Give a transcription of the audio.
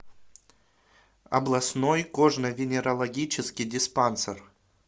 областной кожно венерологический диспансер